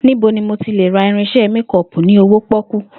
Níbo ni mo ti lè ra irins̩e méko̩ò̩pù ní owó pó̩kú?